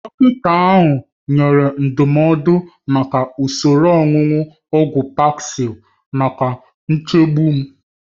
Dọkịta ahụ nyere ndụmọdụ maka usoro onunu ogwu Paxil maka nchegbu m.